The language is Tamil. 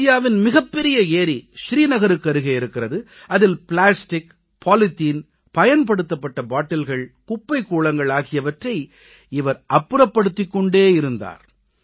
ஆசியாவின் மிகப்பெரிய ஏரி ஸ்ரீநகருக்கருகே இருக்கிறது அதில் பிளாஸ்டிக் பாலித்தீன் பயன்படுத்தப்பட்ட பாட்டில்கள் குப்பைக் கூளங்கள் ஆகியவற்றை இவர் அப்புறப்படுத்திக் கொண்டே இருந்தார்